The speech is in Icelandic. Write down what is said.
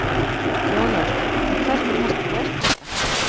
Jón Örn: Og hvernig partý er þetta?